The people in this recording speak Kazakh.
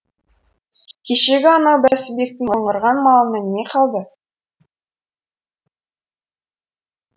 кешегі анау бәсібектің мыңғырған малынан не қалды